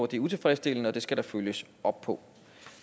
det er utilfredsstillende og det skal der følges op på